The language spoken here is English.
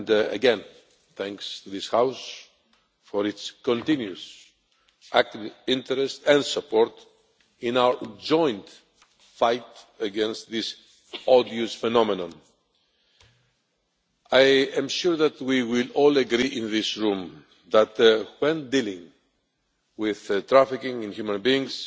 Again, my thanks to this House for its continuous active interest and support in our joint fight against this odious phenomenon. I am sure that we will all agree in this room that when dealing with trafficking in human beings